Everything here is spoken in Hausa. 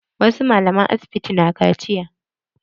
Wasu malaman asibiti na kaciya.